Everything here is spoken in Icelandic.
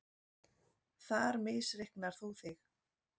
Þar misreiknar þú þig.